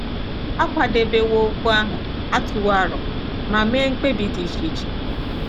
A kwadebewo okwu ahụ, a tụwo aro ma mee mkpebi dị iche iche.